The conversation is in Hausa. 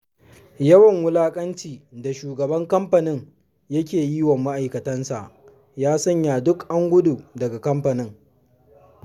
Yawan wulaƙanci da shugaban kamfanin ya ke yi wa ma'aikatansa, ya sanya duk an gudu daga kamfanin.